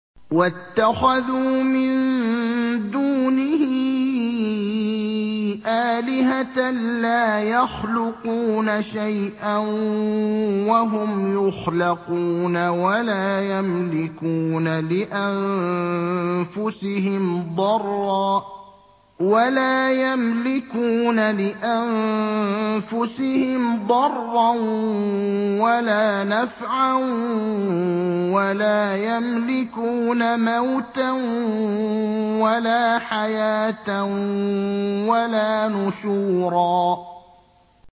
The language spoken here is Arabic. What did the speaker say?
وَاتَّخَذُوا مِن دُونِهِ آلِهَةً لَّا يَخْلُقُونَ شَيْئًا وَهُمْ يُخْلَقُونَ وَلَا يَمْلِكُونَ لِأَنفُسِهِمْ ضَرًّا وَلَا نَفْعًا وَلَا يَمْلِكُونَ مَوْتًا وَلَا حَيَاةً وَلَا نُشُورًا